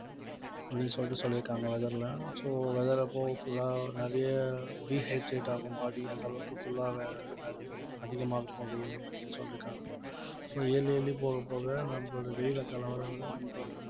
அப்படீன்னு சொல்லிட்டு சொல்லிருக்காங்க weather ல so weather அப்போ full ஆ நிறைய dehydrate ஆகும் body அந்த அளவுக்கு full ஆவே அதிகமா இருக்கும் வெயிலு அப்படின்னு சொல்லிருக்காங்க so yearly yearly போகப் போக நம்மளுடைய வெயில்ல கலவரம் வர நம்மளோட